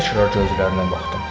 Təkrar gözlərinə baxdım.